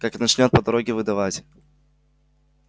как начнёт по дороге выдавать